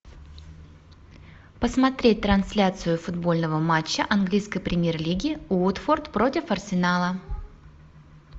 посмотреть трансляцию футбольного матча английской премьер лиги уотфорд против арсенала